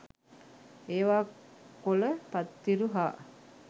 ඒවා කොල පත්තිරු හා